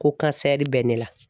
Ko kansɛri bɛ ne la